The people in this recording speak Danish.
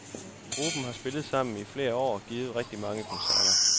Gruppen har spillet sammen i flere år og givet rigtig mange koncerter.